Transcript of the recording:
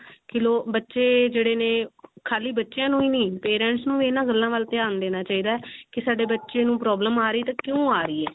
ਕੀ ਲਓ ਬਚੇ ਜਿਹੜੇ ਨੇ ਖਾਲੀ ਬਚਿਆਂ ਨੂੰ ਹੀ parents ਨੂੰ ਵੀ ਇਹਨਾਂ ਗੱਲਾਂ ਵੱਲ ਧਿਆਨ ਦੇਣਾ ਚਾਹਿਦਾ ਕੀ ਸਾਡੇ ਬੱਚੇ ਨੂੰ problem ਆ ਰਹੀ ਤਾਂ ਕਿਉਂ ਆ ਰਹੀ ਹੈ